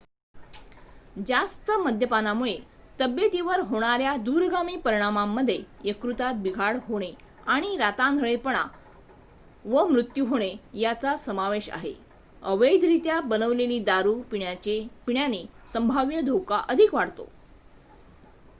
जास्त मद्यपानामुळे तब्येतीवर होणाऱ्या दूरगामी परिणामांमध्ये यकृतात बिघाड होणे आणि आंधळेपणा व मृत्यू होणे यांचा समावेश आहे अवैधरीत्या बनवलेली दारू पिण्याने संभाव्य धोका अधिक वाढतो